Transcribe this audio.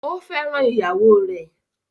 Ó fẹ́ràn ìyàwó rẹ̀?